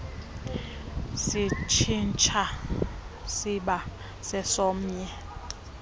sitshintsha siba sesomnye